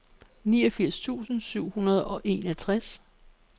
niogfirs tusind syv hundrede og enogtres